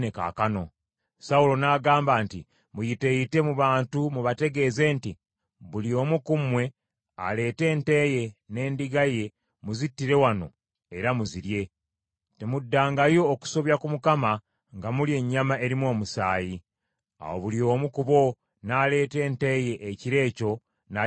Sawulo n’agamba nti, “Muyiteeyite mu bantu mubategeeze nti, ‘Buli omu ku mmwe aleete ente ye n’endiga ye muzittire wano era mu zirye. Temuddangayo okusobya ku Mukama nga mulya ennyama erimu omusaayi.’ ” Awo buli omu ku bo n’aleeta ente ye ekiro ekyo n’agisalira awo.